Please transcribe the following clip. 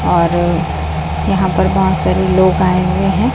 और यहां पर बहोत सारे लोग आए हुए हैं।